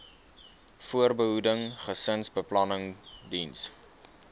voorbehoeding gesinsbeplanning diens